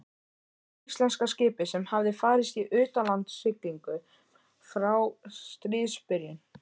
Fyrsta íslenska skipið sem hafði farist í utanlandssiglingum frá stríðsbyrjun.